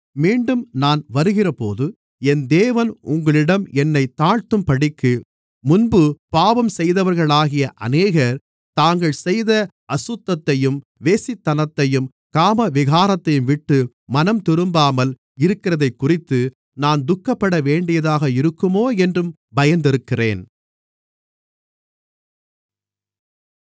மீண்டும் நான் வருகிறபோது என் தேவன் உங்களிடம் என்னைத் தாழ்த்தும்படிக்கு முன்பு பாவம் செய்தவர்களாகிய அநேகர் தாங்கள் செய்த அசுத்தத்தையும் வேசித்தனத்தையும் காமவிகாரத்தையும்விட்டு மனம்திரும்பாமல் இருக்கிறதைக்குறித்து நான் துக்கப்படவேண்டியதாக இருக்குமோ என்றும் பயந்திருக்கிறேன்